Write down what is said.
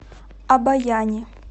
обояни